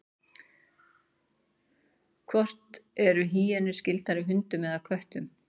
hvort eru hýenur skyldari hundum eða köttum